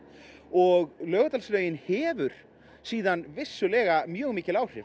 og Laugardalslaugin hefur síðan vissulega mjög mikil áhrif